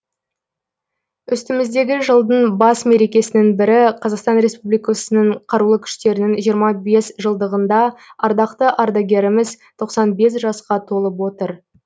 үстіміздегі жылдың бас мерекесінің бірі қазақстан ресупбликасының қарулы күштерінің жиырма бес жылдығында ардақты ардагеріміз тоқсан бес жасқа толып отыр